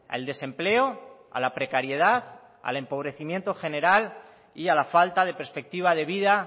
al desempleo a la precariedad al empobrecimiento general y a la falta de perspectiva de vida